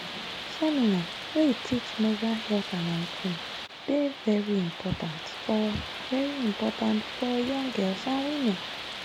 seminar wey teach menstrual health and hygiene dey very important for very important for young girls and women.